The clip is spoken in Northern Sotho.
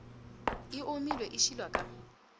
e omile e šilwa ka